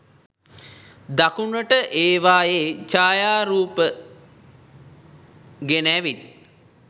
දකුණට ඒවායේ ඡායාරුප ගෙන ඇවිත්